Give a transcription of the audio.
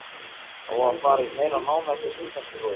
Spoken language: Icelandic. Á að fara í meira nám eftir stúdentsprófið?